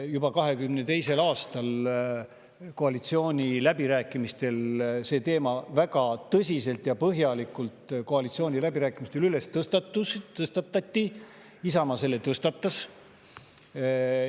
Juba 2022. aastal koalitsiooniläbirääkimistel see teema väga tõsiselt ja põhjalikult tõstatati, Isamaa selle tõstatas.